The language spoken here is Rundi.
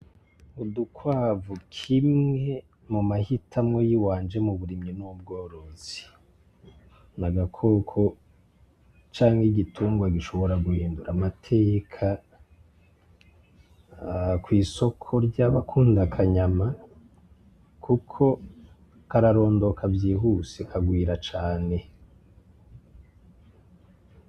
Udukwavu kimwe mu mahitamwo yiwanje mu burimyi n'ubworozi .Ni agakoko canke igitungwa gishobora guhindura amateka kw'isoko ry'abakunda akanyama ,kuko kararondoka vyihuse kagwira cane .